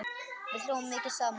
Við hlógum mikið saman.